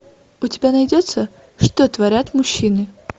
у тебя найдется что творят мужчины